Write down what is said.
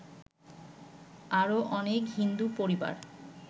আরো অনেক হিন্দু পরিবার